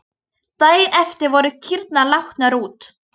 Daginn eftir voru kýrnar látnar út.